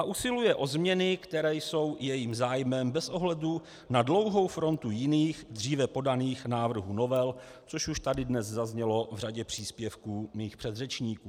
A usiluje o změny, které jsou jejím zájmem bez ohledu na dlouhou frontu jiných, dříve podaných návrhů novel, což už tady dnes zaznělo v řadě příspěvků mých předřečníků.